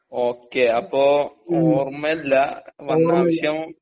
Okay അപ്പൊ ഓർമ്മല്ല വന്നാവശ്യം?